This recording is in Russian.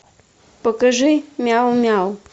покажи мяу мяу